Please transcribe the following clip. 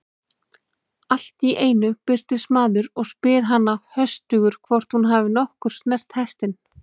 Allt í einu birtist maður og spyr hana höstugur hvort hún hafi nokkuð snert hestinn.